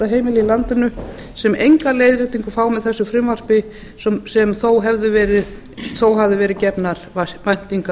heimila í landinu sem enga leiðréttingu fá með þessu frumvarpi sem þó höfðu verið gefnar væntingar